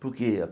Por quê?